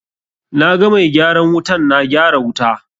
Na ga mai gyaran wutan na gyara wuta.